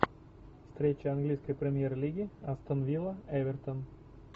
встреча английской премьер лиги астон вилла эвертон